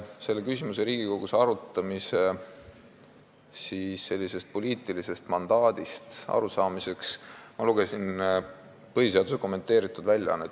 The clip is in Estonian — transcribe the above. Selle küsimuse Riigikogus arutamise poliitilisest mandaadist arusaamiseks ma lugesin põhiseaduse kommenteeritud väljaannet.